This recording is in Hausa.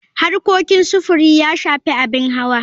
Harkokin sufuri ya shafi abin hawa.